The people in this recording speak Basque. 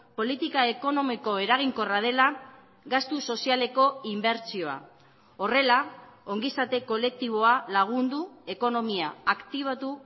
politika ekonomiko eraginkorra dela gastu sozialeko inbertsioa horrela ongizate kolektiboa lagundu ekonomia aktibatu